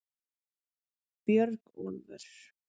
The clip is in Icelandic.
Björgólfur